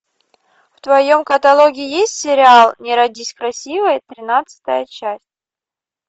в твоем каталоге есть сериал не родись красивой тринадцатая часть